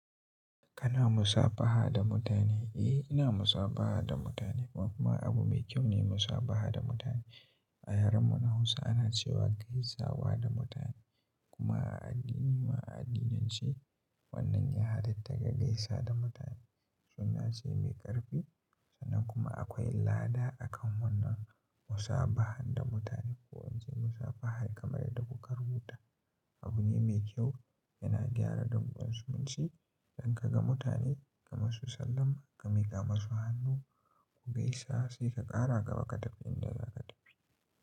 Kana musabaha da mutane? Ina musabaha da mutane. Kuma abu mai kyau ne musabaha da mutane. A yaren mu na Hausa ana cewa gaisawa da mutane. Kuma a addini ma, addinance wannan ya halatta ka gaisa da mutane. Sunna ce mai ƙarfi. Sannan kuma akwai lada akan wannan musabahan da mutane. Ko in ce musafaha kamar yadda kuka rubuta. Abu ne mai kyau, yana gyara dankon zumunci. Idan ka ga mutane ka masu sallam, ka miƙa musu hannu, ku gaisa sai ka ƙara gaba ka tafi inda za ka tafi.